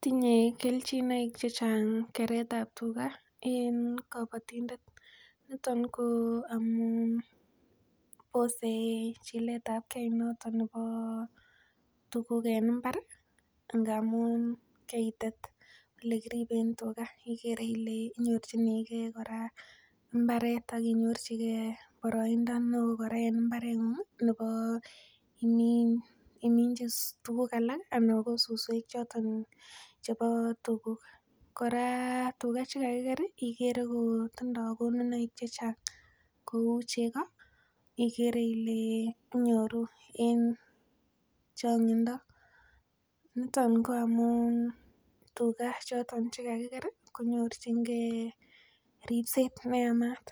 Tinye kelchinoik chechang keret ab tuga en kobotindet niton ko amun bose chiletabgee noton nebo tuguk en mbar amun keitet elekiriben tuga ikere ile inyorchigee kora mbaret ak inyorchigee kora mbaret ak inyorchigee boroindo neoo kora en mbaretng'ung nebo iminji tuguk alak ana ko suswek choton chebo tuga kora tuga chekakiker ikere kotindoo konunoik chechang kou chego ikere ile inyoru en chong'indo niton ko amun tuga chekakiker ih konyorchigee ripset neyamat,